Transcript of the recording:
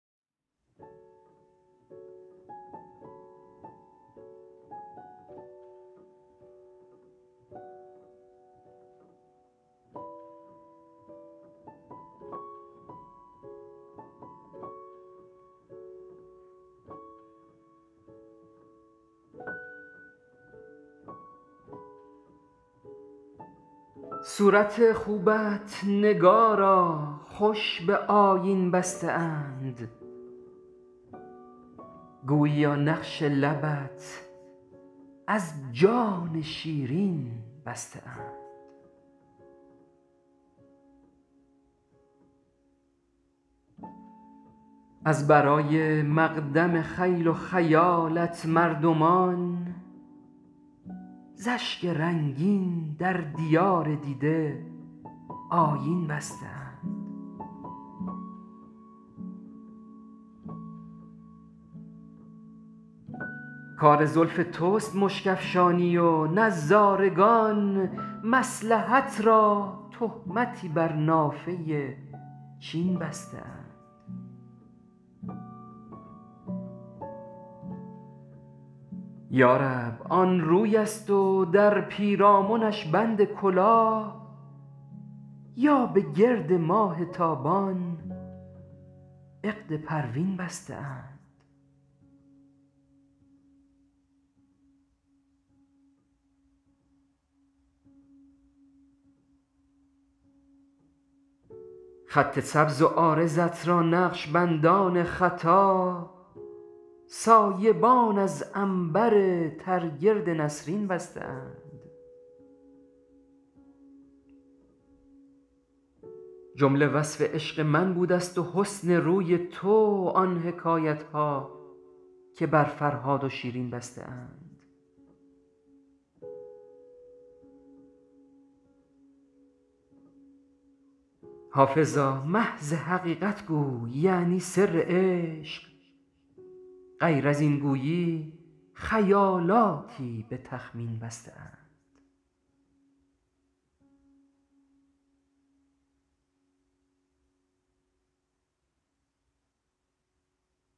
صورت خوبت نگارا خوش به آیین بسته اند گوییا نقش لبت از جان شیرین بسته اند از برای مقدم خیل و خیالت مردمان زاشک رنگین در دیار دیده آیین بسته اند کار زلف توست مشک افشانی و نظارگان مصلحت را تهمتی بر نافه چین بسته اند یارب آن روی است و در پیرامنش بند کلاه یا به گرد ماه تابان عقد پروین بسته اند خط سبز و عارضت را نقش بندان خطا سایبان از عنبر تر گرد نسرین بسته اند جمله وصف عشق من بودست و حسن روی تو آن حکایتها که بر فرهاد و شیرین بسته اند حافظا محض حقیقت گوی یعنی سر عشق غیر از این گویی خیالاتی به تخمین بسته اند